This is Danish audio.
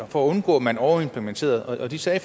for at undgå at man overimplementerede og de sagde